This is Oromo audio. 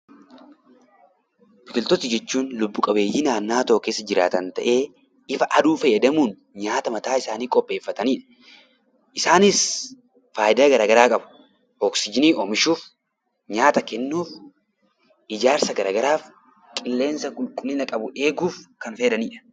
Biqiltoota jechuun lubbu qabeeyyii naannoo tokko keessa jiraatan, ifa aduu fayyadamuun nyaata mataa isaanii kan qopheeffatan. Isaanis gmfaayidaa gara garaa qabu. Oksijiinii oomishuuf, nyaatakennuuf, ijaarsa gara garaaf, qilleensa qulqullina qabu eeguuf kan fayyadanidha.